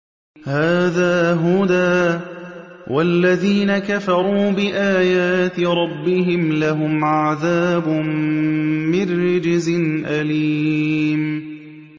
هَٰذَا هُدًى ۖ وَالَّذِينَ كَفَرُوا بِآيَاتِ رَبِّهِمْ لَهُمْ عَذَابٌ مِّن رِّجْزٍ أَلِيمٌ